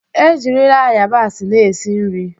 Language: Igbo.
Ejirila ayabasị na-esi nri.